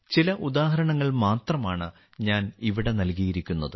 ചില ഉദാഹരണങ്ങൾ മാത്രമാണ് ഞാൻ ഇവിടെ നൽകിയിരിക്കുന്നത്